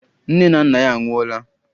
Nne na nna ya anwụọla.